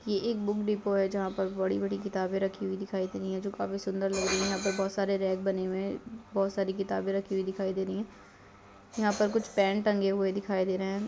ये एक book depot है जहां पर बड़ी-बड़ी किताबें रखी हुई दिखाई दे रही हैं जो काफी सुन्दर लग रही हैं यहां पर रैक बने हुए है बहुत सारी किताबें रखी हुई दिखाई दे रही है यहां पर कुछ पेन टंगे हुए दिखाई दे रहें हैं।